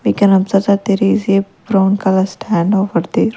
We can observe that there is a brown color stand over there.